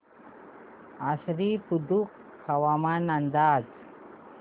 आश्वी बुद्रुक हवामान अंदाज